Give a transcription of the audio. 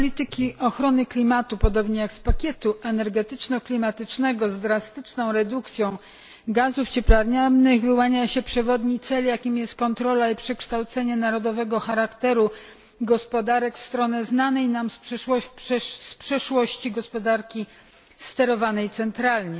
Z polityki ochrony klimatu, podobnie jak z pakietu energetyczno klimatycznego z drastyczną redukcją gazów cieplarnianych, wyłania się przewodni cel, jakim jest kontrola i przekształcenie narodowego charakteru gospodarek, w stronę znanej nam z przeszłości gospodarki sterowanej centralnie.